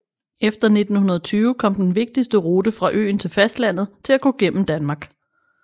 Efter 1920 kom den vigtigste rute fra øen til fastlandet til at gå gennem Danmark